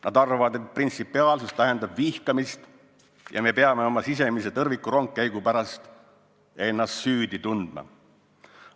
Nad arvavad, et printsipiaalsus tähendab vihkamist ja et me peame oma sisemise tõrvikurongkäigu pärast ennast süüdi tundma.